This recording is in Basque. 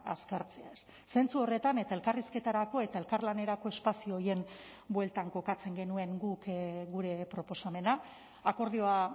azkartzeaz zentzu horretan eta elkarrizketarako eta elkarlanerako espazio horien bueltan kokatzen genuen guk gure proposamena akordioa